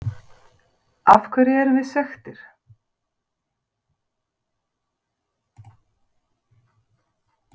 Af hverju erum við svekktir?